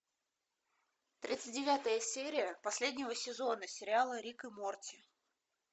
тридцать девятая серия последнего сезона сериала рик и морти